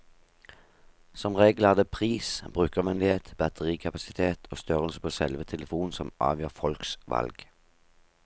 Som regel er det pris, brukervennlighet, batterikapasitet og størrelsen på selve telefonen som avgjør folks valg.